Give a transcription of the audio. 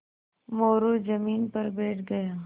मोरू ज़मीन पर बैठ गया